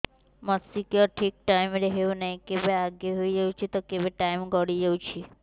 ମାସିକିଆ ଠିକ ଟାଇମ ରେ ହେଉନାହଁ କେବେ ଆଗେ ହେଇଯାଉଛି ତ କେବେ ଟାଇମ ଗଡି ଯାଉଛି